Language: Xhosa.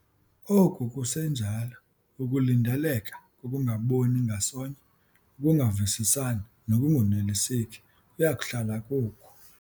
Oku kusenjalo, ukulindeleka kokungaboni ngasonye, ukungavisisani nokungoneliseki kuya kuhlala kukho.